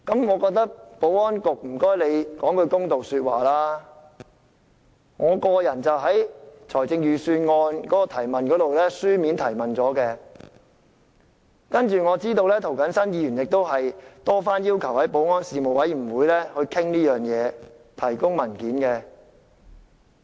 我請保安局說句公道話，我在立法會審議財政預算案時曾提出書面質詢，我知道涂謹申議員亦多番要求保安事務委員會就此事進行討論及提供文件。